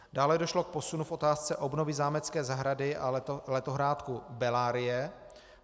Dále došlo k posunu v otázce obnovy zámecké zahrady a letohrádku Bellarie.